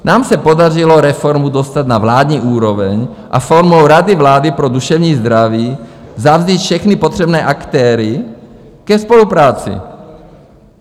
Nám se podařilo reformu dostat na vládní úroveň a formou Rady vlády pro duševní zdraví vzít všechny potřebné aktéry ke spolupráci.